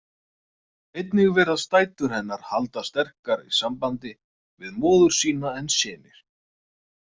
Einnig virðast dætur hennar halda sterkari sambandi við móður sína en synir.